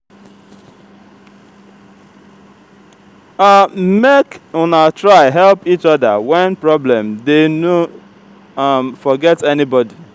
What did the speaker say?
um make una try help each oda wen problem dey no um forget anybodi.